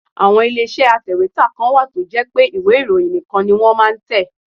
Àwọn ilé iṣẹ́ atèwétà kan wà tó jẹ́ pé ìwé ìròyìn nìkan ni wọ́n máa ń tẹ.